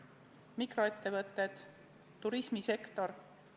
Näiteks mikroettevõtted, turismisektor.